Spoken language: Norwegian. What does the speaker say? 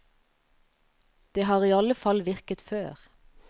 Det har i alle fall virket før.